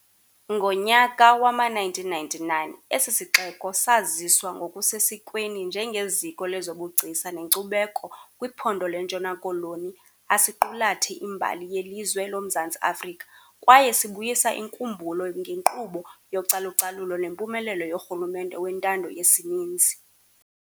Ngonyaka wama 1999 esisixeko saziswa ngoku sesikweni njenge ziko lezobugcisa nekcubeko kwiphondo lentshona koloni asiqulathe imbali yelizwe loMzantsi Afrika kwaye sibuyisa inkumbulo ngekqubo yocalucalulo nempumelelo yorhulumente wentando yesininzi.